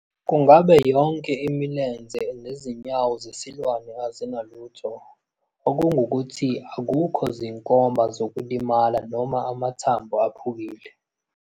Kungabe yonke imilenze nezinyawo zesiwane azinalutho, okungukuthi akukho zinkomba zokulimala noma amathambo aphukile?